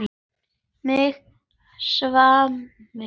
Mig svimar.